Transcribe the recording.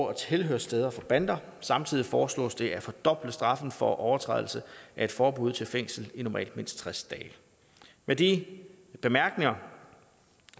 og tilhørssteder for bander samtidig foreslås det at fordoble straffen for overtrædelse af et forbud til fængsel i normalt mindst tres dage med de bemærkninger